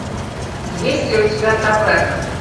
есть ли у тебя таверна